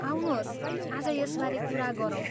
आउनुहोस् आज यसबारे कुरा गरौँ।